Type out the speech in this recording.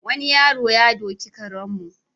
Wani yaro ya doki karenmu.